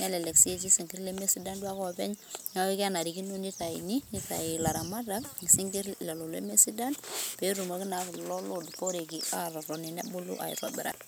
nelelk sii etii isnkir lemesidan duo ake oleng',neeku kenarikino, neitayuni, neitayu ilaramatak isinkir lelo lemesidan, pee etumoki naa kulo loo duporei aatotoni nebulu aitobiraki.